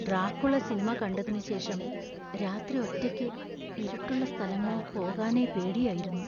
Dracula സിനിമ കണ്ടതിനുശേഷം, രാത്രി ഒറ്റയ്ക്ക് ഇരുട്ടുള്ള സ്ഥലങ്ങളിൽ പോകാനേ പേടിയായിരുന്നു.